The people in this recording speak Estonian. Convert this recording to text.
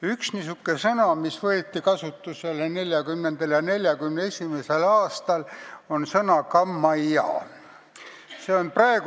Üks niisugune sõna, mis võeti kasutusele 1940.–1941. aastal, on "kammajaa".